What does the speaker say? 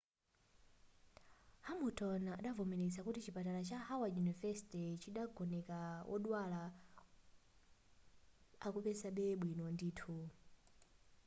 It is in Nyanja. hamilton adavomeleza kuti chipatala cha howard university chidagoneka wodwala akupezabe bwino ndithu